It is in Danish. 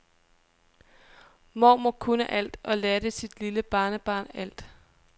Mormor kunne alt og lærte sit lille barnebarn alt.